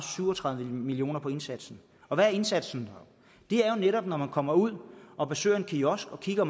syv og tredive million kroner på indsatsen og hvad er indsatsen det er jo netop når man kommer ud og besøger en kiosk og kigger